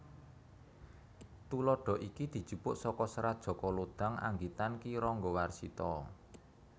Tuladha iki dijupuk saka Serat Jaka Lodhang anggitan Ki Ranggawarsita